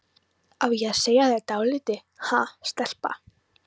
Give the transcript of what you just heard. Á ég að segja þér dálítið, ha, stelpa?